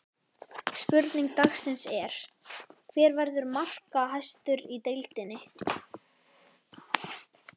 Spurning dagsins er: Hver verður markahæstur í deildinni?